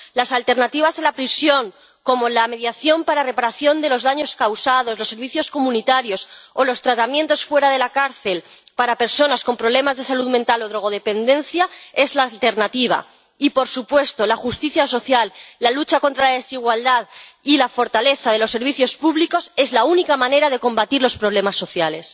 Las alternativas a la prisión, como la mediación para reparación de los daños causados, los servicios comunitarios o los tratamientos fuera de la cárcel para personas con problemas de salud mental o drogodependencia son la alternativa, y, por supuesto, la justicia social, la lucha contra la desigualdad y la fortaleza de los servicios públicos son la única manera de combatir los problemas sociales.